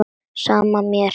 Sama er mér.